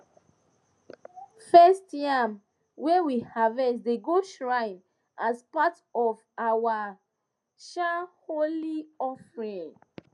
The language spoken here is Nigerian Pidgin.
first yam wey we harvest dey go shrine as part of our um holy offering